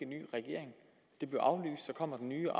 ny regering og så kommer den nye